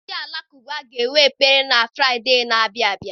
Ndị alakụba ga-enwe ekpere na Fraịde a na-abịa abịa.